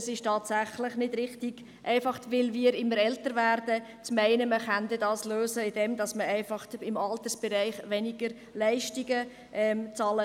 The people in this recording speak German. Es ist tatsächlich nicht richtig, nur weil wir immer älter werden, zu meinen, dass wir dies lösen können, indem wir im Altersbereich einfach weniger Leistungen bezahlen.